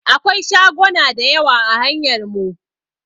Akwai shagona da yawa a hanyar mu.